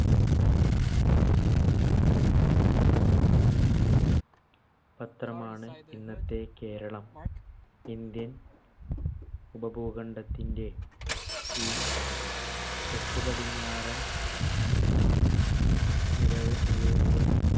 പത്രമാണ് ഇന്നത്തെ കേരളം. ഇന്ത്യൻ ഉപഭൂഖണ്ഡത്തിന്‍ടെ ഈ തെക്കുപടിഞ്ഞാറൻ നിരവ്‌